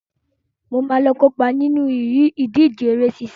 Mo máa lọ kópa nínú ìdíje eré sísá.